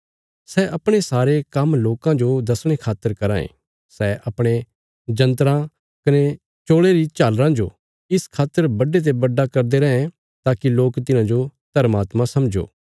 सै अपणे सारे काम्म लोकां जो दसणे खातर कराँ ये सै अपणे जंत्राँ कने चोल़े री झालराँ जो इस खातर बड्डे ते बड्डा करदे रैं ताकि लोक तिन्हांजो धर्मात्मा समझो